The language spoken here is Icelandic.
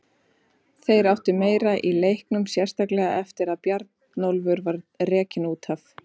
Þeir áttu meira í leiknum, sérstaklega eftir að Bjarnólfur var rekinn út af.